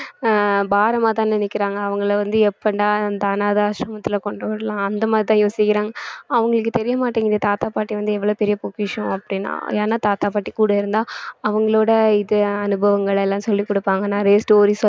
ஆஹ் பாரமாதான் நினைக்கிறாங்க அவங்களை வந்து எப்படா அந்த அனாதை ஆசிரமத்தில கொண்டு விடலாம் அந்த மாதிரிதான் யோசிக்கிறாங்க அவங்களுக்கு தெரிய மாட்டேங்குது தாத்தா பாட்டி வந்து எவ்வளவு பெரிய பொக்கிஷம் அப்படின்னா ஏன்னா தாத்தா பாட்டி கூட இருந்தா அவங்களோட இது அனுபவங்கள் எல்லாம் சொல்லிக் கொடுப்பாங்க நிறைய story